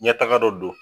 Ɲɛtaga dɔ don